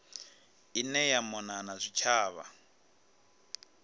ine ya mona na zwitshavha